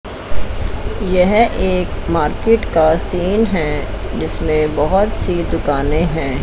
यह एक मार्केट का सीन है जिसमें बहोत सी दुकाने हैं।